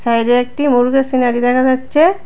বাইরে একটি মুরগীর সিনারি দেখা যাচ্ছে।